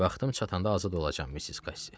Vaxtım çatanda azad olacam, Missis Kassi.